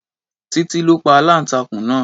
Titi ló pa aláǹtakùn náà.